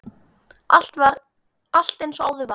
Allt eins og áður var.